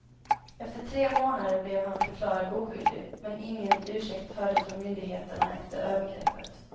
Efter tre månader blev han förklarad oskyldig, men ingen ursäkt hördes från myndigheterna efter övergreppet.